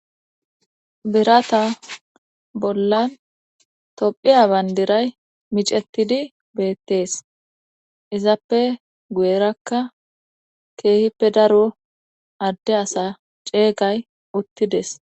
Biratan bollan tophiya bandiray micetidi beettees izappe guyerakka keehippe daro adde asa ceeygay uttides.